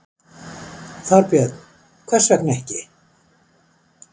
Þorbjörn: Hvers vegna ekki?